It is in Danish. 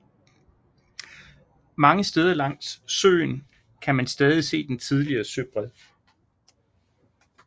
Mange steder langs søen kan man stadig se den tidligere søbred